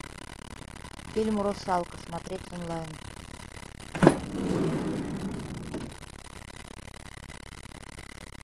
фильм русалка смотреть онлайн